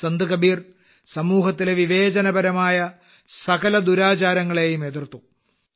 സന്ത് കബീർ സമൂഹത്തിലെ എല്ലാ വിവേചനപരമായ ദുരാചാരങ്ങളെയും എതിർത്തു